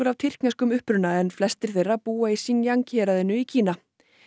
af tyrkneskum uppruna en flestir þeirra búa í héraðinu í Kína